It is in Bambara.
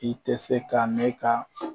I tɛ se ka ne ka